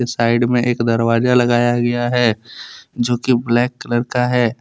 Side में एक दरवाजा लगाया गया है जो की ब्लैक कलर का है।